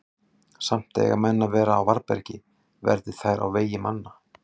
Samt eiga menn að vera á varðbergi, verði þær á vegi manna.